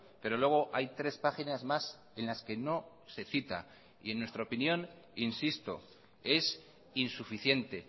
pero luego hay tres páginas más en las que no se cita y en nuestra opinión insisto es insuficiente